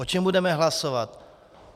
O čem budeme hlasovat?